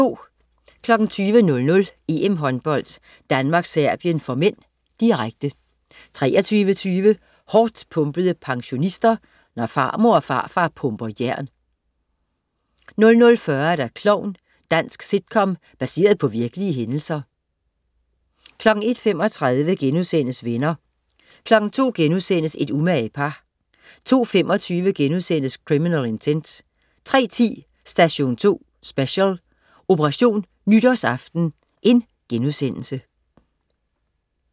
20.00 EM-Håndbold: Danmark-Serbien (m), direkte 23.20 Hårdtpumpede pensionister. Når farmor og farfar pumper jern 00.40 Klovn. Dansk sitcom baseret på virkelige hændelser 01.35 Venner* 02.00 Et umage par* 02.25 Criminal Intent* 03.10 Station 2 Special: Operation nytårsaften*